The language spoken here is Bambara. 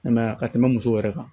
I m'a ye a ka tɛmɛ musow yɛrɛ kan